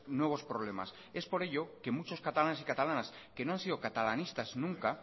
nuevos problemas es por ello que muchos catalanes y catalanas que no han sido catalanistas nunca